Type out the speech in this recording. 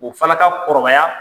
O fana ka kɔrɔbaya,